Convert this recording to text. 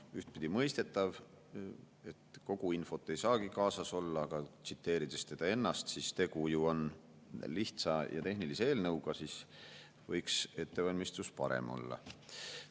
Ühtpidi mõistetav, et kogu infot ei saagi kaasas olla, aga tsiteerides teda ennast, et tegu on ju lihtsa ja tehnilise eelnõuga, siis võiks ettevalmistus parem olla.